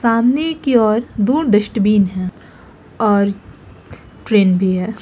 सामने की ओर दूर डस्टबिन है और ट्रेन भी है।